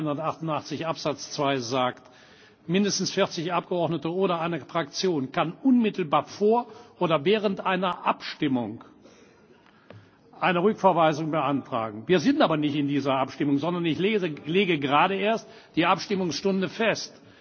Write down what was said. Artikel 188 Absatz 2 besagt, dass mindestens 40 Abgeordnete oder eine Fraktion unmittelbar vor oder während einer Abstimmung eine Rückverweisung beantragen können. Wir sind aber nicht in dieser Abstimmung, sondern ich lege gerade erst die Abstimmungsstunde fest.